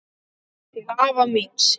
Til afa míns.